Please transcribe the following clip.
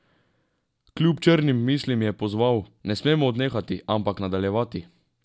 Kljub črnim mislim je pozval: "Ne smemo odnehati, ampak nadaljevati.